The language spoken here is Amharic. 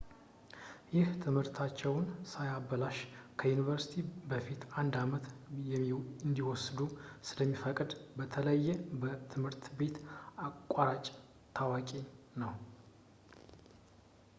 ይህ ትምህርታቸውን ሳያበላሽ ከዩኒቨርሲቲ በፊት አንድ አመት እንዲወስዱ ስለሚፈቅድ በተለየ በትምህርት ቤት አቋራጮች ታዋቂ ነው